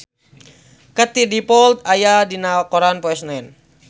Katie Dippold aya dina koran poe Senen